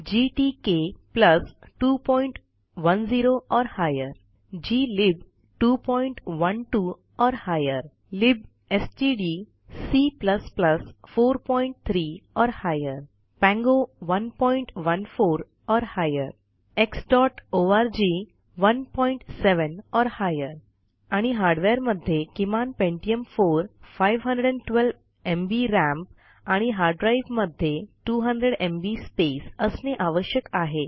GTK 210 or higher glib 212 or higher libstdc 43 or higher Pango 114 or higher xओआरजी 17 or higher आणि हार्डवेअरमध्ये किमानPentium 4 512एमबी राम आणि हार्डड्राईव्हमध्ये 200एमबी स्पेस असणे आवश्यक आहे